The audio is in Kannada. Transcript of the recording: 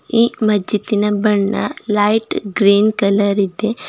ಈ ಮಜ್ಜಿದಿನ ಬಣ್ಣ ಲೈಟ್ ಗ್ರೀನ್ ಕಲರ್ ಇದೆ.